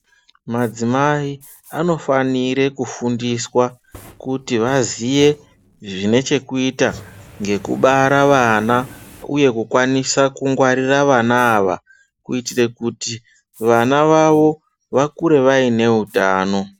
Madzimai, anofanire kufundiswa, kuti vaziye, zvine chekuita, nekubara vana, nekukwanisa kungwarira vana ava, kuita kuti vana vavo vakure vaine utano.